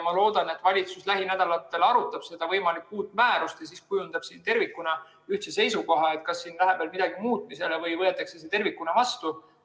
Ma loodan, et valitsus lähinädalatel arutab seda võimalikku uut määrust ja kujundab tervikuna ühtse seisukoha, kas siin läheb veel midagi muutmisele või võetakse see tervikuna vastu.